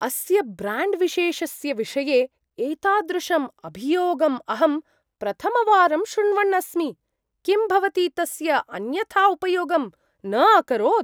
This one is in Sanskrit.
अस्य ब्राण्ड्विशेषस्य विषये एतादृशम् अभियोगम् अहं प्रथमवारं श्रुण्वन् अस्मि। किं भवती तस्य अन्यथा उपयोगम् न अकरोत्?